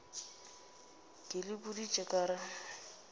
ke le boditše ka re